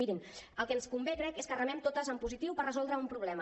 mirin el que ens convé crec és que remem totes en positiu per resoldre un problema